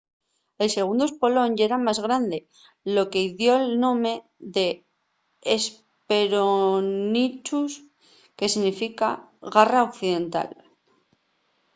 el segundu espolón yera más grande lo que-y dio'l nome de hesperonychus que significa garra occidental